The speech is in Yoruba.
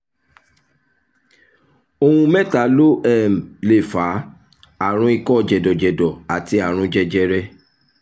ohun mẹ́ta ló um lè fà á: àrùn ikọ́ jẹ̀dọ̀jẹ̀dọ̀ àti àrùn jẹjẹrẹ